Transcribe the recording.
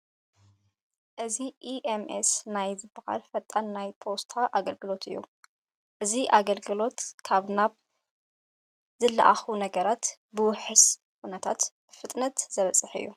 እዚ EMS ናይ ዝበሃል ፈጣን ናይ ፖስታ ኣገልግሎት እዩ፡፡ እዚ ኣገልግሎት ካብ ናብ ንዝለኣኹ ነገራት ብውሑስ ኩነታት ብፍጥነት ዘብፅሕ እዩ፡፡